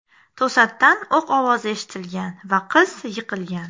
To‘satdan o‘q ovozi eshitilgan va qiz yiqilgan.